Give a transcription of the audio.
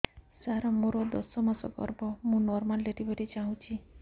ସାର ମୋର ଦଶ ମାସ ଗର୍ଭ ମୁ ନର୍ମାଲ ଡେଲିଭରୀ ଚାହୁଁଛି